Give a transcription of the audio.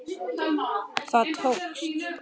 Það tókst!